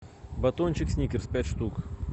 батончик сникерс пять штук